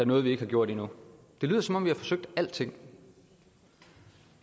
noget vi ikke har gjort endnu det lyder som om vi har forsøgt alting